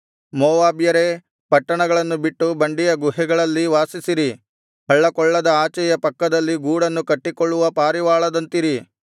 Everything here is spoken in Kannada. ಮೋವಾಬ್ಯರೇ ಪಟ್ಟಣಗಳನ್ನು ಬಿಟ್ಟು ಬಂಡೆಯ ಗುಹೆಗಳಲ್ಲಿ ವಾಸಿಸಿರಿ ಹಳ್ಳಕೊಳ್ಳದ ಆಚೆಯ ಪಕ್ಕದಲ್ಲಿ ಗೂಡನ್ನು ಕಟ್ಟಿಕೊಳ್ಳುವ ಪಾರಿವಾಳದಂತಿರಿ